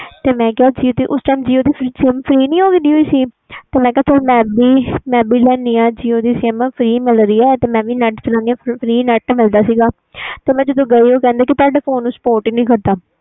ਉਸ time jio ਦੀ sim free ਹੋ ਗਈ ਸੀ ਨਾ ਮੈਂ ਕਿਹਾ ਮੈਂ ਵੀ jio sim ਲੈਂਦੀ ਆ jio ਦੀ sim free ਮਿਲ ਦੀ ਪਈ ਵ ਤੇ free net ਮਿਲ ਦਾ ਸੀ ਤੇ ਉਹ ਕਹਿੰਦੇ ਤੁਹਾਡੇ ਫੋਨ ਵਿਚ spot ਨਹੀਂ ਕਰਦੀ